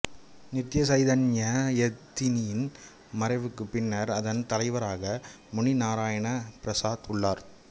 நித்ய சைதன்ய யதியின் மறைவுக்குப் பின்னர் அதன் தலைவராக முனி நாராயணபிரசாத் உள்ளார்